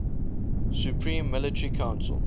supreme military council